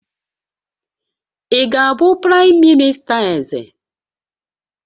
Ị ga-abụ praịm minista Eze?